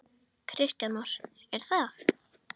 Kristján Már: Er það?